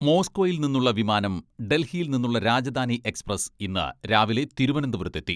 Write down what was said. മോസ്കോയിൽ നിന്നുള്ള വിമാനം ഡൽഹിയിൽ നിന്നുള്ള രാജധാനി എക്സ്പ്രസ് ഇന്ന് രാവിലെ തിരുവനന്തപുരത്തെത്തി.